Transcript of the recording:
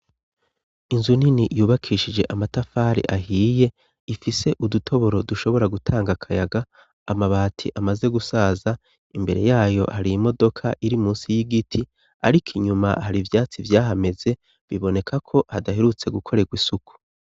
Inzu nini yubakishije amatafari ahiye ifise udutoboro dushobora gutanga akayaga amabati amaze gusaza imbere yayo hariyimodoka iri munsi y'igiti ariko inyuma hari ivyatsi vyahameze biboneka ko hadaherutse gukoregwa isuku.